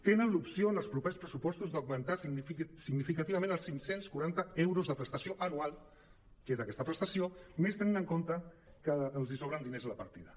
tenen l’opció en els propers pressupostos d’augmentar significativament els cinc cents i quaranta euros de prestació anual que és aquesta prestació més tenint en compte que els so·bren diners a la partida